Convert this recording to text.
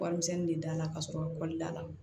Warimisɛnnin de da la ka sɔrɔ kɔli da la